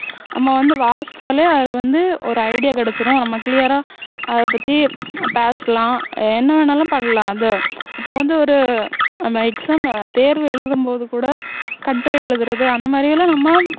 நம்ம வந்து வாசிச்சாலே அது வந்து ஒரு idea கிடைச்சிரும் நம்ம clear ஆ ஆஹ் அதைப்பத்தி task லாம் என்ன வேணும்னாலும் பண்ணலாம் இந்த இப்போ வந்து ஒரு நம்ம exam தேர்வு எழுதும் போது கூட கட்டுரை எழுதுறது அந்தமாதிரி எல்லாம் நம்ம